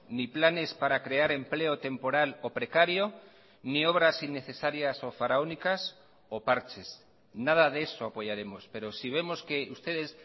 ni planes para crear empleo temporal o precario ni obras innecesarias o faraónicas o parches nada de eso apoyaremos pero si vemos que ustedes